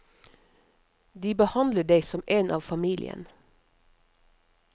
De behandler deg som en av familien.